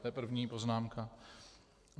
To je první poznámka.